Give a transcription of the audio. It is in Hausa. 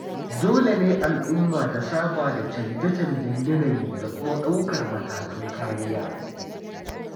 Dole ne al'umma ta saba da chanje-chanjen yanayi da kuma ɗaukar matakan kariya.